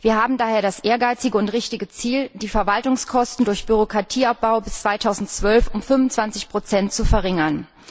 Wir haben daher das ehrgeizige und richtige Ziel, die Verwaltungskosten durch Bürokratieabbau bis 2012 um 25 zu verringern.